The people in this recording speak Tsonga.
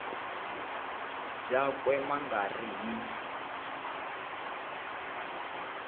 byakwe ma nga ri hi